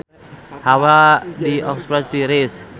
Hawa di Oxford tiris